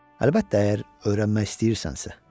Əlbəttə, əgər öyrənmək istəyirsənsə.